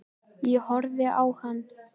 Ég horfði á hann.